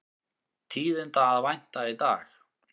Tíðinda að vænta í dag